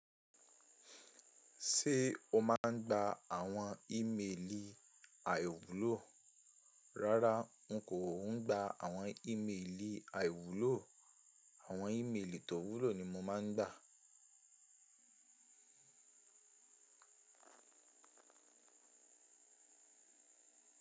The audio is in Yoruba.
Ṣé o máa ń gba àwọn ímelì àìwúlò? Rárá, n kò ń gba àwọn ímelì àìwúlò. Àwọn ímelì tó wúlò ni mo máa ń gba.